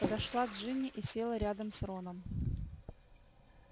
подошла джинни и села рядом с роном